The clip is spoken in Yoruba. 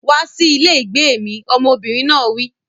Wá sí ilé ìgbé mi! Ọmọbìnrin náà wí.